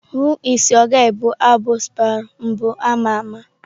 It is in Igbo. Who is your guy' bụ abụ Spyro mbụ ama ama.